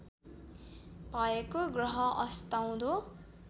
भएको ग्रह अस्ताउँदो